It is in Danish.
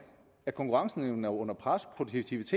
at konkurrenceevnen er under pres